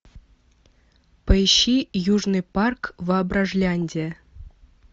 поищи южный парк воображляндия